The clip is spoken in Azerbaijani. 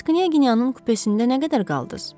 Bəs Knyaginyanın kupesində nə qədər qaldınız?